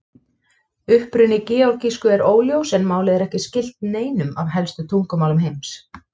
Uppruni georgísku er óljós en málið er ekki skylt neinum af helstu tungumálum heims.